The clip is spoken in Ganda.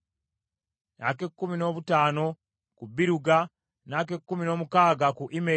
ak’ekkumi noobutaano ku Biruga, n’ak’ekkumi n’omukaaga ku Immeri,